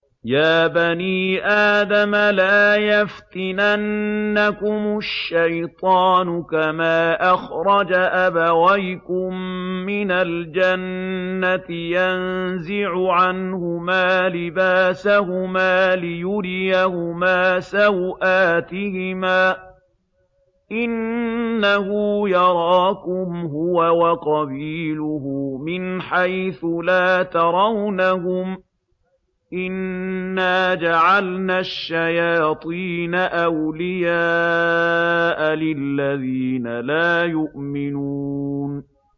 يَا بَنِي آدَمَ لَا يَفْتِنَنَّكُمُ الشَّيْطَانُ كَمَا أَخْرَجَ أَبَوَيْكُم مِّنَ الْجَنَّةِ يَنزِعُ عَنْهُمَا لِبَاسَهُمَا لِيُرِيَهُمَا سَوْآتِهِمَا ۗ إِنَّهُ يَرَاكُمْ هُوَ وَقَبِيلُهُ مِنْ حَيْثُ لَا تَرَوْنَهُمْ ۗ إِنَّا جَعَلْنَا الشَّيَاطِينَ أَوْلِيَاءَ لِلَّذِينَ لَا يُؤْمِنُونَ